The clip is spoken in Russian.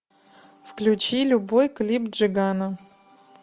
включи любой клип джигана